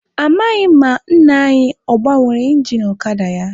Amaghị m ma nna anyi ọ gbanwere ingin ọkada ya.